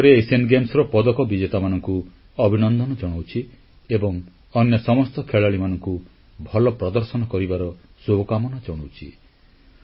ମୁଁ ପୁଣିଥରେ ଏସୀୟ କ୍ରୀଡାର ପଦକ ବିଜେତାମାନଙ୍କୁ ଅଭିନନ୍ଦନ ଜଣାଉଛି ଏବଂ ଅନ୍ୟ ସମସ୍ତ ଖେଳାଳିମାନଙ୍କୁ ଭଲ ପ୍ରଦର୍ଶନ କରିବାର ଶୁଭକାମନା ଜଣାଉଛି